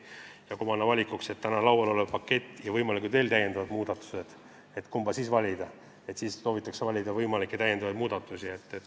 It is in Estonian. Ja kui nad panna valiku ette, kas see täna laual olev pakett või võimalikud täiendavad muudatused, siis soovitakse neid võimalikke täiendavaid muudatusi.